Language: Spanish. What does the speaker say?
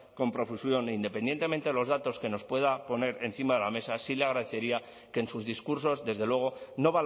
con profusión e independientemente de los datos que nos pueda poner encima de la mesa sí le agradecería que en sus discursos desde luego no